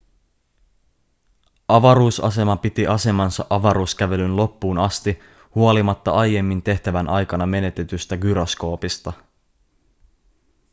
avaruusasema piti asemansa avaruuskävelyn loppuun asti huolimatta aiemmin tehtävän aikana menetetystä gyroskoopista